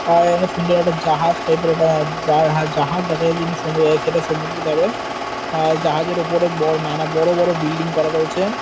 আ এখানে সুন্দর একটা জাহাজ টাইপ -এর একটা বা হা জাহাজ দেখা যাচ্ছে যিনি সমু সেটা সমুদ্রে যাবে আর জাহাজের ওপরে বড় নানা বড় বড় বিল্ডিং করা রয়েছে--